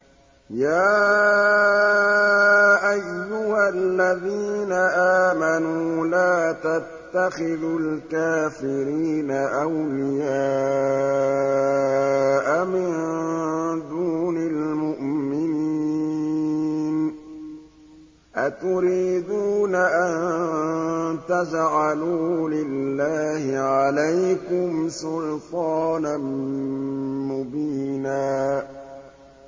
يَا أَيُّهَا الَّذِينَ آمَنُوا لَا تَتَّخِذُوا الْكَافِرِينَ أَوْلِيَاءَ مِن دُونِ الْمُؤْمِنِينَ ۚ أَتُرِيدُونَ أَن تَجْعَلُوا لِلَّهِ عَلَيْكُمْ سُلْطَانًا مُّبِينًا